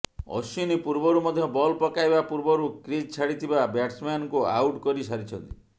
ଅଶ୍ୱିନୀ ପୂର୍ବରୁ ମଧ୍ୟ ବଲ୍ ପକାଇବା ପୂର୍ବରୁ କ୍ରିଜ୍ ଛାଡିଥିବା ବ୍ୟାଟସମ୍ୟାନଙ୍କୁ ଆଉଟ କରି ସାରିଛନ୍ତି